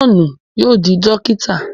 Johnu yóò di dokita